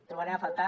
trobarem a faltar